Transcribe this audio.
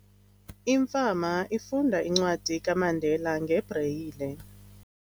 Imfama ifunda incwadi kaMandela ngebreyile.